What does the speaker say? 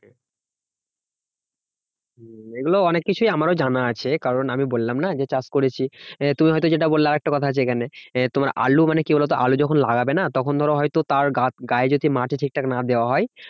হম এগুলো অনেক কিছুই আমারও জানা আছে। কারণ আমি বললাম না যে চাষ করেছি তুমি হয়তো যেটা বললে আরেকটা কথা আছে এখানে। তোমার আলু মানে কি বলতো আলু যখন লাগাবে না তখন ধরো হয়তো তার গায়ে যদি মাটি ঠিকঠাক না দেওয়া হয়